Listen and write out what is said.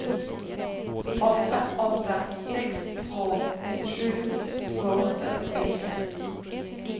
åtta åtta sex två nittiosju tvåhundratrettionio